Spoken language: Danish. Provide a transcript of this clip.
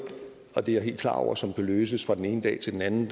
og det er jeg helt klar over som kan løses fra den ene dag til den anden